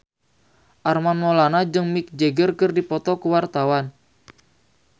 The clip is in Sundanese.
Armand Maulana jeung Mick Jagger keur dipoto ku wartawan